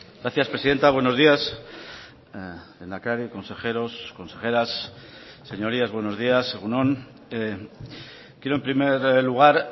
gracias presidenta buenos días lehendakari consejeros consejeras señorías buenos días egun on quiero en primer lugar